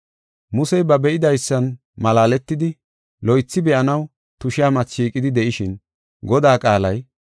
Musey ba be7idaysan malaaletidi, loythi be7anaw tushiya mati shiiqidi de7ishin, Godaa qaalay,